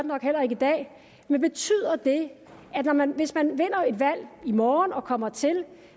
nok heller ikke i dag men betyder det at man hvis man vinder et valg i morgen og kommer til